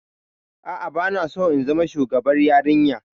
A'a, ba na so in zama shugabar yarinya.